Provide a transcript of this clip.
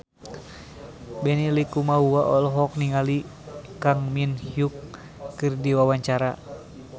Benny Likumahua olohok ningali Kang Min Hyuk keur diwawancara